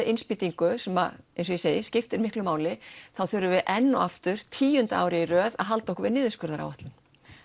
innspýtingu sem eins og ég segi skiptir miklu máli þá þurfum við enn og aftur tíunda árið í röð að halda okkur við niðurskurðaráætlun